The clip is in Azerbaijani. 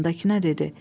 yanındakına dedi: